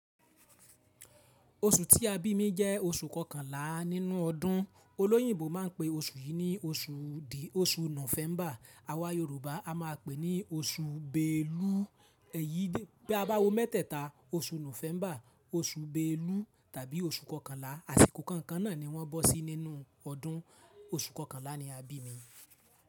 Oṣù tí a bí mi jẹ́ oṣù kọkànlá nínú ọdún. Olóyìnbo máa ń pe oṣù yìí ní oṣù dì oṣù Nọ́fẹ́mbà. Awà Yorùbá a máa pèé ní oṣù Beelu. Ẹ̀yí dé, bi a bá wo mẹ́tẹ̀ta, oṣù Nọ́fẹ́mbà, oṣù Beelu tàbí oṣù kọkànlá. Àsìkò kànkan náà ni wọ́n bọ́ sí nínú ọdún. Oṣù kọkànlá ni a bí mi.